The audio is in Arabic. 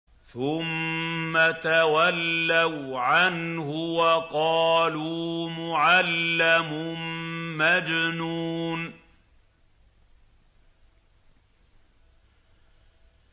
ثُمَّ تَوَلَّوْا عَنْهُ وَقَالُوا مُعَلَّمٌ مَّجْنُونٌ